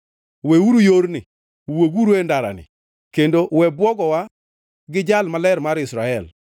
Weuru yorni, wuoguru e ndarani kendo we bwogowa gi Jal Maler mar Israel.